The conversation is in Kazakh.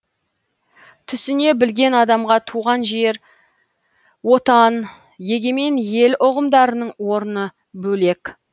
түсіне білген адамға туған жер отан егемен ел ұғымдарының орны бөлек